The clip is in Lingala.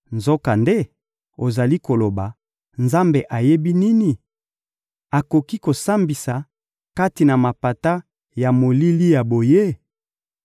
Nzokande, ozali koloba: ‹Nzambe ayebi nini? Akoki kosambisa kati na mapata ya molili ya boye?›